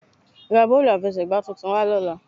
Ra bọ́ọ̀lù àfẹsẹ̀gbà tuntun wá lọ́la